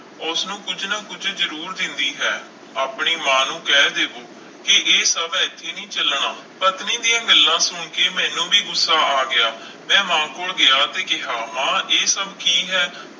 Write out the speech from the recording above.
ਉਸਨੂੰ ਕੁੱਝ ਨਾ ਕੁੱਝ ਜ਼ਰੂਰ ਦਿੰਦੀ ਹੈ ਆਪਣੀ ਮਾਂ ਨੂੰ ਕਹਿ ਦਿਓ ਕਿ ਇਹ ਸਭ ਇੱਥੇ ਨਹੀਂ ਚੱਲਣਾ, ਪਤਨੀ ਦੀਆਂ ਗੱਲਾਂ ਸੁਣ ਕੇ ਮੈਨੂੰ ਵੀ ਗੁੱਸਾ ਆ ਗਿਆ, ਮੈਂ ਮਾਂ ਕੋਲ ਗਿਆ ਤੇ ਕਿਹਾ, ਮਾਂ ਇਹ ਸਭ ਕੀ ਹੈ।